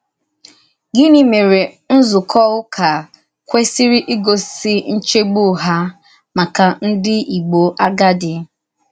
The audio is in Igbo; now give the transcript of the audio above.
Gịnị mèré nzúkọ ụ́kà kwésìrì ígòsì nchègbù hà màkà ndí Ìgbò àgádì?